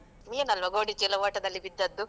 ನೀನಲ್ವ ಗೋಣಿ ಚೀಲ ಓಟದಲ್ಲಿ ಬಿದ್ದದ್ದು?